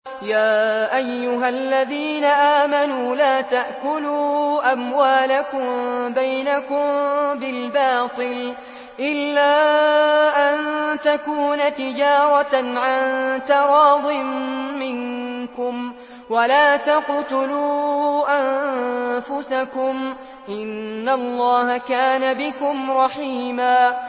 يَا أَيُّهَا الَّذِينَ آمَنُوا لَا تَأْكُلُوا أَمْوَالَكُم بَيْنَكُم بِالْبَاطِلِ إِلَّا أَن تَكُونَ تِجَارَةً عَن تَرَاضٍ مِّنكُمْ ۚ وَلَا تَقْتُلُوا أَنفُسَكُمْ ۚ إِنَّ اللَّهَ كَانَ بِكُمْ رَحِيمًا